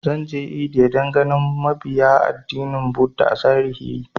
Zan je India dan ganin mabiya addinin buddha a zahiri